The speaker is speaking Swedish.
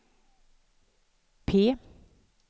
P